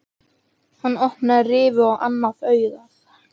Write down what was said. Hann opnaði rifu á annað augað.